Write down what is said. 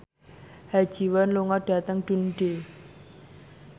Ha Ji Won lunga dhateng Dundee